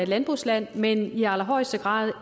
landbrugsland men i allerhøjeste grad